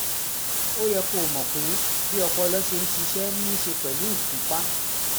ó yẹ kó o mọ̀ pé bí ọpọlọ ṣe ń ṣiṣẹ́ ní í ṣe pẹ̀lú ìfúnpá